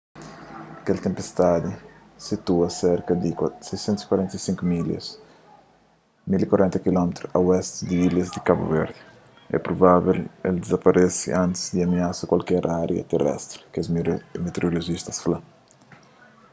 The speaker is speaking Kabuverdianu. kel tenpestadi situa serka di 645 milhas 1040 km a oesti di ilhas di kabu verdi é provável el dizaparese antis di amiasa kualker ária terestri kes meteorolojista fla